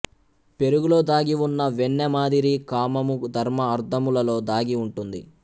పెరుగులో దాగి ఉన్న వెన్న మాదిరి కామము ధర్మ అర్ధములలో దాగి ఉంటుంది